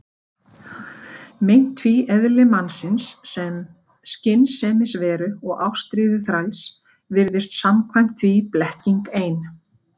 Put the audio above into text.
Meint tvíeðli mannsins, sem skynsemisveru og ástríðuþræls, virðist samkvæmt því blekking ein.